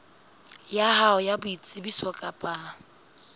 ya hao ya boitsebiso kapa